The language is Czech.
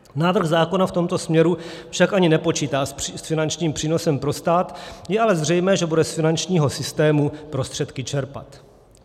Návrh zákona v tomto směru však ani nepočítá s finančním přínosem pro stát, je ale zřejmé, že bude z finančního systému prostředky čerpat.